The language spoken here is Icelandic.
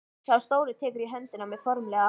Sá stóri tekur í höndina á mér formlegur.